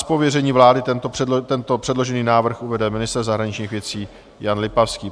Z pověření vlády tento předložený návrh uvede ministr zahraničních věcí Jan Lipavský.